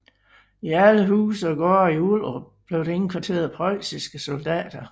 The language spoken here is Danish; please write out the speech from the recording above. I alle huse og gårde i Ullerup blev der indkvarteret preussiske soldater